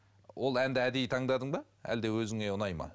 ол әнді әдейі таңдадың ба әлде өзіңе ұнайды ма